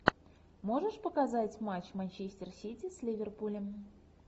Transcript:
можешь показать матч манчестер сити с ливерпулем